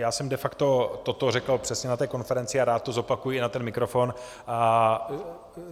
Já jsem de facto toto řekl přesně na té konferenci a rád to zopakuji i na mikrofon.